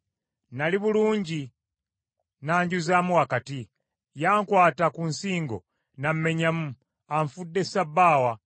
Nnali bulungi, n’anjuzaamu wakati; yankwata ku nsingo n’ammenyamu. Anfudde ssabbaawa,